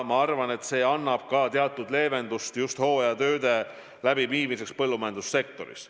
Ma arvan, et see annab teatud leevendust just hooajatööde läbiviimiseks põllumajandussektoris.